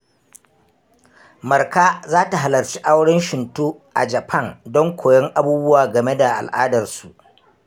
Marka za ta halarci auren Shinto a Japan don koyon abubuwa game da al’adarsu.